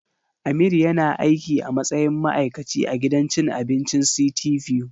Amir yana aiki a matsayin ma'aikaci a gidan cin abincin City View.